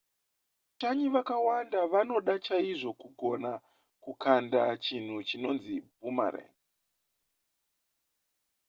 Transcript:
vashanyi vakawanda vanoda chaizvo kugona kukanda chinhu chinonzi boomerang